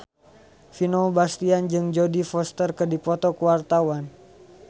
Vino Bastian jeung Jodie Foster keur dipoto ku wartawan